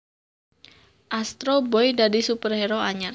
Astro Boy dadi superhero anyar